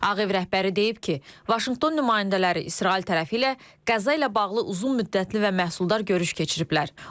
Ağ Ev rəhbəri deyib ki, Vaşinqton nümayəndələri İsrail tərəfi ilə Qəza ilə bağlı uzunmüddətli və məhsuldar görüş keçiriblər.